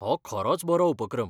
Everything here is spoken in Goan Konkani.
हो खरोच बरो उपक्रम!